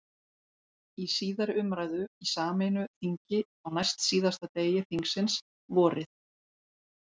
Í síðari umræðu í sameinu þingi, á næstsíðasta degi þingsins, vorið